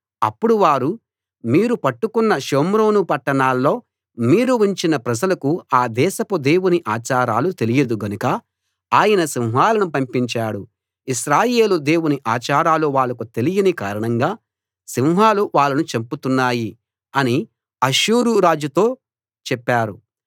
అప్పుడు వారు మీరు పట్టుకొన్న షోమ్రోను పట్టణాల్లో మీరు ఉంచిన ప్రజలకు ఆ దేశపు దేవుని ఆచారాలు తెలియదు గనక ఆయన సింహాలను పంపించాడు ఇశ్రాయేలు దేవుని ఆచారాలు వాళ్లకు తెలియని కారణంగా సింహాలు వాళ్ళను చంపుతున్నాయి అని అష్షూరు రాజుతో చెప్పారు